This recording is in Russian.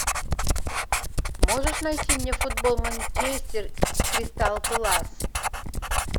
можешь найти мне футбол манчестер с кристал пэлас